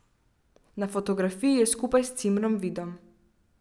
Na fotografiji je skupaj s cimrom Vidom.